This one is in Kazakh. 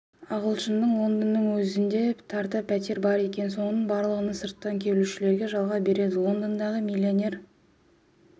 ағылшынның лондонның өзінде тарта пәтері бар екен соның барлығын сырттан келушілерге жалға береді лондондағы миллионер